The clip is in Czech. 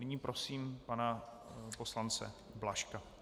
Nyní prosím pana poslance Blažka.